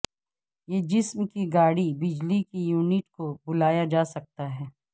یہ جسم کی گاڑی بجلی کے یونٹ کو بلایا جا سکتا ہے